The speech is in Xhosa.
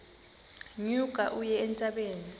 nyuka uye entabeni